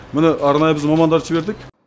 міне арнайы біз мамандар жібердік